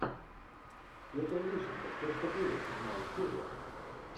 петр лещенко все что было седьмая серия